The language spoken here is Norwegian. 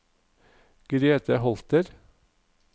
Grete Holter